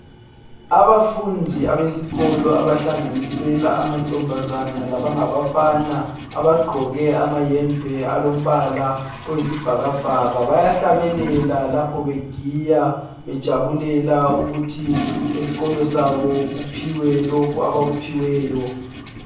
Abafundi abesikolo abahlanganisela amantombazana labangabafana, abagqoke amayembe alombala oyisibhakabhaka, bayahlabelela lapho begiya, bejabulela ukuthi esikolo sabo kuphiwe lokho abakuphiweyo.